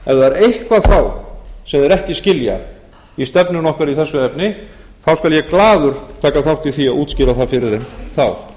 það er eitthvað sem þeir ekki skilja í stefnunni okkar í þessu efni þá skal ég glaður taka þátt í því að útskýra það fyrir þeim þá